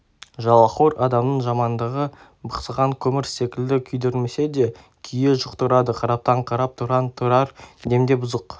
жалақор адамның жамандығы бықсыған көмір секілді күйдірмесе де күйе жұқтырады қараптан қарап тұрған тұрар демде бұзық